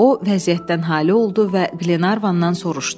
O vəziyyətdən hali oldu və Glenarvandan soruşdu.